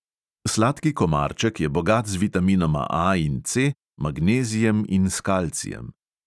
Sladki komarček je bogat z vitaminoma A in C, magnezijem in s kalcijem.